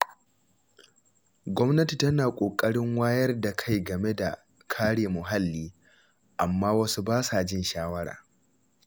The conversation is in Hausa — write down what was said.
Gwamnati tana ƙoƙarin wayar da kai game da kare muhalli, amma wasu ba sa jin shawara.